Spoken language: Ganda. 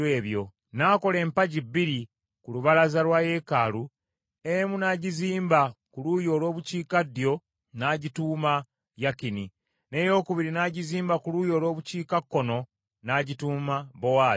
N’akola empagi bbiri ku lubalaza lwa yeekaalu, emu n’agizimba ku luuyi olw’obukiikaddyo n’agituuma Yakini, n’eyokubiri n’agizimba ku luuyi olw’obukiikakkono n’agituuma Bowaazi.